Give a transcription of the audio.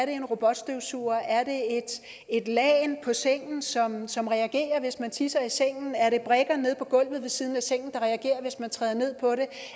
en robotstøvsuger et lagen på sengen som som reagerer hvis man tisser i sengen brikker nede på gulvet ved siden af sengen der reagerer hvis man træder ned på det